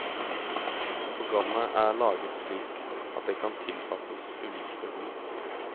Programmet er laget slik at det kan tilpasses ulike behov.